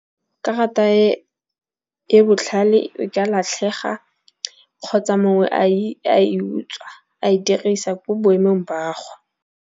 Karata e e botlhale e ka latlhega kgotsa mongwe a i utswa a e dirisa ko boemong ba go.